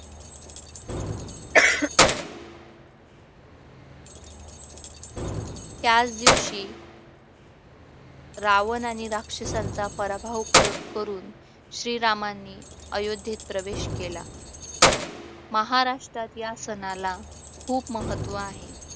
त्याच दिवशी रावणाने राक्षसांचा पराभव करून श्रीरामांनी अयोध्येत प्रवेश केला महाराष्ट्रात या सणाला खूप महत्त्व आहे